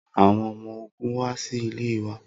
Awọn ọmọ ogun wa si ile wa